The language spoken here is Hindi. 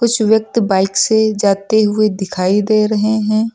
कुछ व्यक्ति बाइक से जाते हुए दिखाई दे रहे हैं।